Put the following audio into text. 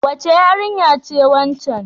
Wace yarinya ce waccan?